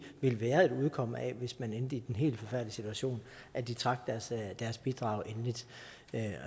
vil være et udkomme hvis man endte i den helt forfærdelige situation at de trak deres bidrag endeligt